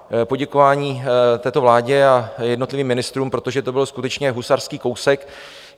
Poděkování této vládě a jednotlivým ministrům, protože to byl skutečně husarský kousek.